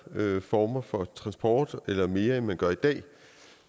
former for transport eller mere end man gør i dag